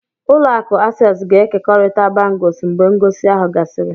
Ụlọ akụ Access ga-ekekọrịta bangles mgbe ngosi ahụ gasịrị.